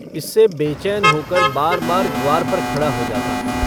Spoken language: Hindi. इससे बेचैन होकर बारबार द्वार पर खड़ा हो जाता।